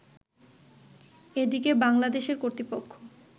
এদিকে বাংলাদেশের কর্তৃপক্ষ